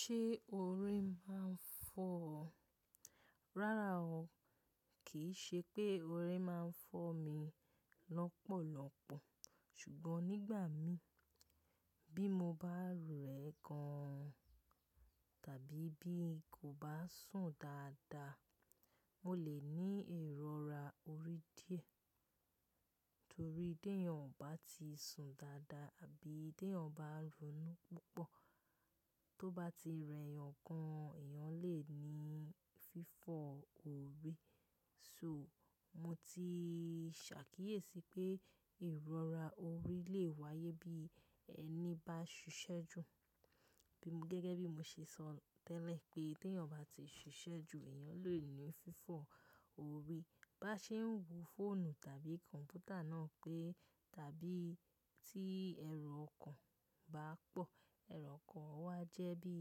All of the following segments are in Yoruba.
Ṣé ori máa ń fọ́ ọ? Rárá o, kìí ṣe pé orí máa ń fọ́ mi lọ́pọ̀lọ́pọ̀. Ṣùgbọ́n nígbà mí bí mo bá rẹ gan tàbí bí kò bá sùn dáadáa, mo lè ní ìrọra orí díẹ̀. Nítorí tí èèyàn ò bá ti sùn dáadáa àbí tí èèyàn bá ń ronú púpọ̀ tó bá ti rẹyàn gan, èèyàn lè ní fífọ́ orí. So mo ti ṣàkíyèsí pé ìrọra orí lè wáyé bí ẹni bá ṣiṣẹ́ jù. Gẹ́gẹ́ bí mo ṣe sọ tẹ́lẹ̀ pé tí èèyàn bá ti ṣiṣẹ́ jù, èèyàn lè ní fífọ́ orí. Bá ṣe ń wo fóònù tàbí kọ̀m̀pútà náà pẹ́ tàbí tí ẹrù ọkàn bá pọ̀, ẹrù ọkàn wà jẹ́ bí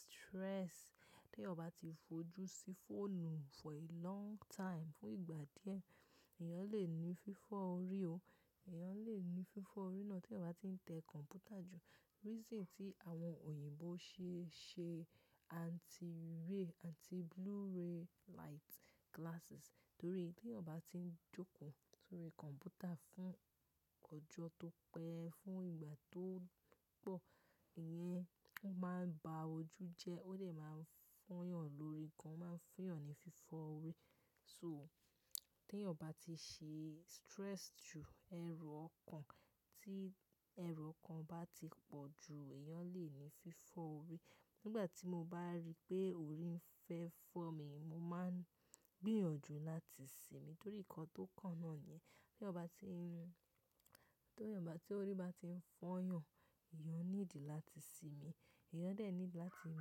stress. Tí èèyàn bá ti fojú sí fóònù for a long time, fún ìgbà díẹ̀, èèyàn lè ní fífọ́ orí o. Èèyàn lè ní fífọ́ orí náà tí èèyàn bá tí ń tẹ kọ̀m̀pútà jù. Reason tí àwọn òyìnbó ṣe ṣe anti-ray, anti blue ray light glasses torí tí èèyàn bá tí ń jókòó sórí kọ̀m̀pútà fún ọjọ́ tó pẹ́, fún ìgbà tó pọ̀, ìyẹn o máa ń ba ojú jẹ́, ó dè máa ń fọ́yàn lórí gan, ó máa ń funyàn ní fífọ́ orí. So tí èèyàn bá ti ṣe stress jù, ẹrù ọkàn tí ẹrù ọkàn bá ti pọ̀ jù, èèyàn lè ní fífọ́ orí. Nígbà tí mo bá rí pé orí ń fẹ́ fọ́ mi, mo máa ń gbìyànjú láti sinmi torí nǹkan tó kàn náa niyẹn. Tí eeyan bá tí ń ni, tí èèyàn bá tí, orí bá tí ń fọ́yàn, èèyàn níìdí láti sinmi. Ẹ̀eyàn dè niídi láti mú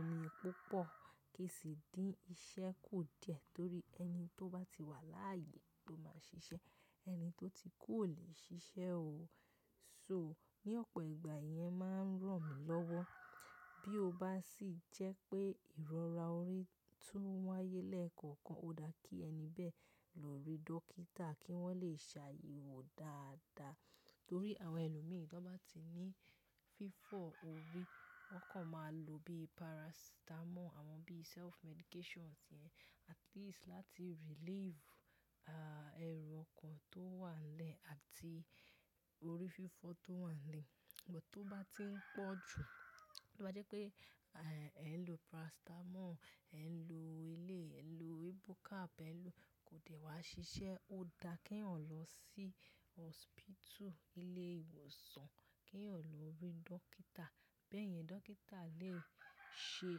omi púpọ̀ kí sì dí ń ṣẹ́ kò díẹ̀ torí ẹni tó bá ti wà láàyè ló máa ń ṣiṣẹ́, ẹni tó ti kú ò lè ṣiṣẹ́ o. So ní ọ̀pọ̀ ìgbà ìyẹn máa ń ràn mí lọ́wọ́. Bí o bá sì jẹ́ pé ìrọra orí tún wáyé lẹ́ẹ̀kọ̀kan, ó dá kí ẹni bẹ́ẹ̀ lọ rí dókítà kí wọ́n lè ṣe àyẹ̀wò dáadáa. Torí àwọn ẹlòmí bá ti ní fífọ́ orí, wọ́n kàn máa lò bí paracetamol, àwọn bí self-medications yẹn at least láti relieve, ẹrù ọkàn tó wà n lẹ́ àti orí fífọ́ tó wà n lẹ̀. Ṣùgbọ́n tó bá tí ń pọ̀ jù, tó bá jẹ́ pé, ẹ n lo paracetamol, ẹ n lo eléyi, ẹ n lo ibucap, ẹ n lo kò dè wá ṣiṣẹ́, ó dá kí ẹ̀eyàn lọ sí hospital, nilé ìwòsàn, kí eẹ̀yàn lọ rí dókítà. Bẹ́yẹn dókítà lè ṣe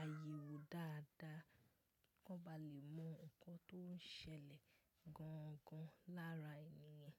àyẹ̀wò dáadáa, kan ba lè mọ nǹkan tó ń ṣẹlẹ̀ gangan lára èeyàn.